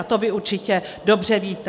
A to vy určitě dobře víte.